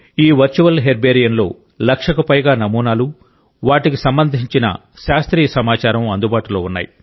ఈ వర్చువల్ హెర్బేరియంలో లక్షకు పైగా నమూనాలు వాటికి సంబంధించిన శాస్త్రీయ సమాచారం అందుబాటులో ఉన్నాయి